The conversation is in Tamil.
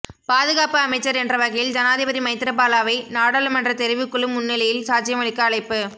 பாதுகாப்பு அமைச்சர் என்ற வகையில் ஜனாதிபதி மைத்திரிபாலவை நாடாளுமன்ற தெரிவுக்குழு முன்னிலையில் சாட்சியமளிக்க அழைப்பு